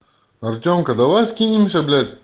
артемка давай скинемся блять